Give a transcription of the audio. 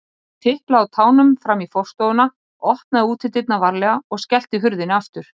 Hann tiplaði á tánum fram í forstofuna, opnaði útidyrnar varlega og skellti hurðinni aftur.